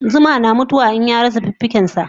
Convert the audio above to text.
Zuma na mutu wa in yarasa